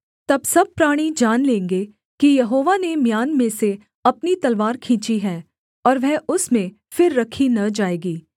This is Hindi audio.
तब सब प्राणी जान लेंगे कि यहोवा ने म्यान में से अपनी तलवार खींची है और वह उसमें फिर रखी न जाएगी